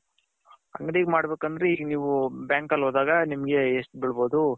ಅಂಗಡಿಗೆ ಮಾಡ್ಬೇಕ್ ಅಂದ್ರೆ ಈಗ ನೀವು bank ಅಲ್ಲಿ ಹೋದಾಗ ನಿಮ್ಮಗೆ ಎಷ್ಟು ಬಿಳಬೌದು